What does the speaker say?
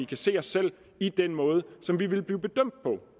kan se os selv i den måde som vi vil blive bedømt på